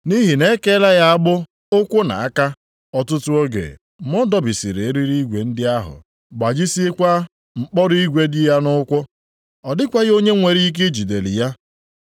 Nʼihi na e keela ya agbụ ụkwụ nʼaka ọtụtụ oge ma ọ dọbisiri eriri igwe ndị ahụ, gbajisiekwa mkpọrọ igwe dị ya nʼụkwụ. Ọ dịkwaghị onye nwere ike ijideli ya.